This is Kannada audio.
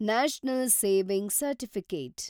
national saving certificate